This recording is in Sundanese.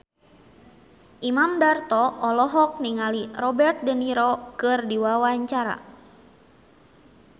Imam Darto olohok ningali Robert de Niro keur diwawancara